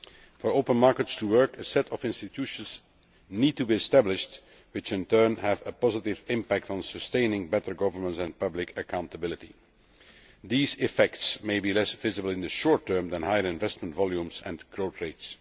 For open markets to work, a set of institutions needs to be established which, in turn, have a positive impact on sustaining better governance and public accountability. Those effects may be less visible in the short term than higher investment volumes and growth rates.